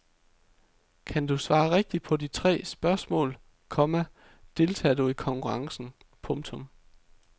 Kan du svare rigtigt på de tre spørgsmål, komma deltager du i konkurrencen. punktum